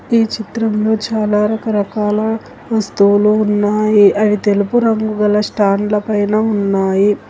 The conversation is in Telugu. ఏ చిత్రంలో చాలా రకరకాల వస్తువులు ఉన్నాయి అని తెలుపు రంగు గల స్టాండ్ ల పైన ఉన్నాయి.